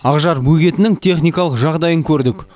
ақжар бөгетінің техникалық жағдайын көрдік